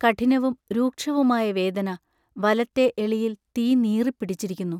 കഠിനവും രൂക്ഷവുമായ വേദന വലത്തെ എളിയിൽ തീ നീറിപ്പിടിച്ചിരിക്കുന്നു.